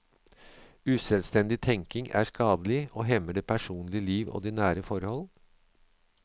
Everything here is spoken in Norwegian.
Uselvstendig tenkning er skadelig, og hemmer det personlige liv og de nære forhold.